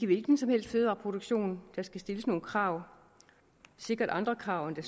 hvilken som helst fødevareproduktion der skal stilles nogle krav sikkert andre krav end der